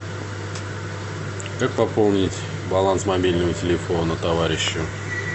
как пополнить баланс мобильного телефона товарищу